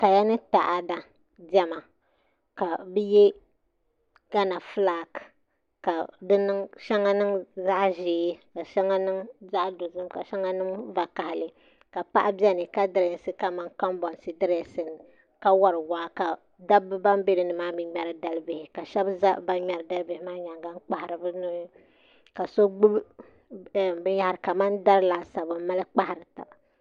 Kaya ni taada diɛma ka bi yɛ tana fulak ka shɛŋa niŋ zaɣ ʒiɛ ka shɛŋa niŋ zaɣ dozim ka shɛŋa niŋ vakaɣali ka paɣa biɛni ka dirɛsi kamani kanbonsi direesin la ka wori waa ka dabba ban bɛ dinni maa mii ŋmɛri dalibihi ka shab ʒɛ ban ŋmɛri dalibihi maa nyaanga n kpahari bi nubihi ka so gbubi binyahari kamani dari laasabu n mali kpahari taba